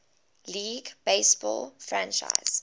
league baseball franchise